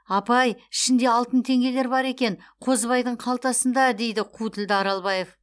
апай ішінде алтын теңгелер бар екен қозыбайдың қалтасында дейді қу тілді аралбаев